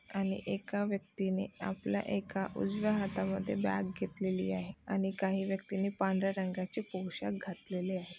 आणि एका व्यक्तीने आपल्या एका उजव्या हाता मध्ये बॅग घेतलेली आहे आणि काही व्यक्तींनी पांढर्‍या रंगाचे पोशाख घातलेले आहे.